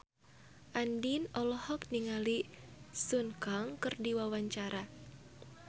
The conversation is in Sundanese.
Andien olohok ningali Sun Kang keur diwawancara